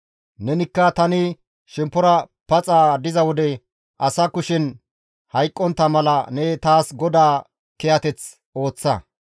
Nenikka tani shemppora paxa diza wode asa kushen hayqqontta mala ne taas GODAA kiyateth ooththa.